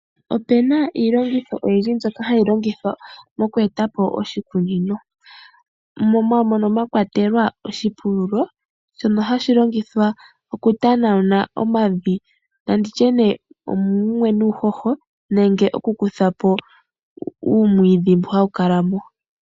Ope na iilongitho oyindji mbyoka hayi longithwa moku etapo oshikunino, mono mwa kwatelwa oshipululo shono hashi longithwa okutanauna omavi, na nditye nee omumwe nuuhoho. Nenge okukuthamo uumwiidhi mboka hawu kala mo.